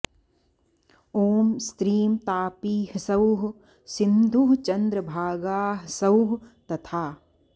ॐ स्त्रीं तापी ह्सौः सिन्धुः चन्द्रभागा ह्सौः तथा